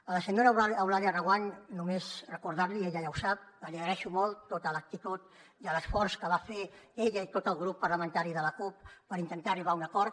a la senyora eulàlia reguant només recordar li ella ja ho sap que li agraeixo molt tota l’actitud i l’esforç que van fer ella i tot el grup parlamentari de la cup per intentar arribar a un acord